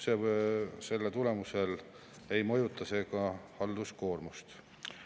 Ja see ei mõjuta ka halduskoormust.